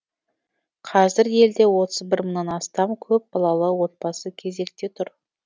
қазір елде отыз бір мыңнан астам көпбалалы отбасы кезекте тұр